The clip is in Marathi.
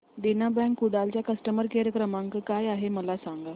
देना बँक कुडाळ चा कस्टमर केअर क्रमांक काय आहे मला सांगा